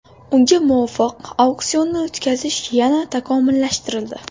Unga muvofiq auksionni o‘tkazish yana takomillashtirildi.